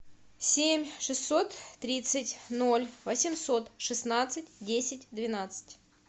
семь шестьсот тридцать ноль восемьсот шестнадцать десять двенадцать